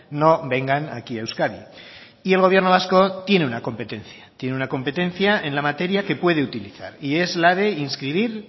no vengan aquí a euskadi y el gobierno vasco tiene una competencia tiene una competencia en la materia que puede utilizar y es la de inscribir